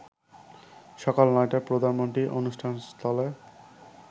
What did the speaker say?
সকাল ৯টায় প্রধানমন্ত্রী অনুষ্ঠানস্থলে